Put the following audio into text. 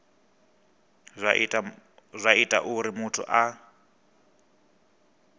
zwa ita uri muthu a